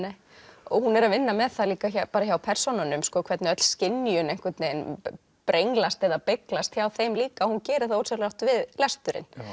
og hún er að vinna með það líka hjá persónunum hvernig öll skynjun einhvern veginn brenglast eða beyglast hjá þeim líka hún gerir það ósjálfrátt við lesturinn